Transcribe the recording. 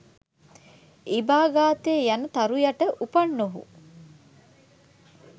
ඉබාගතේ යන තරු යට උපන් ඔහු